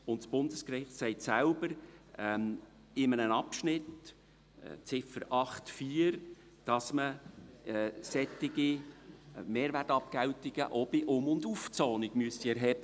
Das Bundesgericht sagt selbst in einem Abschnitt, Ziffer 8.4, dass solche Mehrwertabgeltungen auch bei Um- und Aufzonungen erhoben werden müssten.